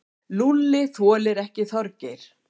Lúlli þoldi ekki Þorgeir.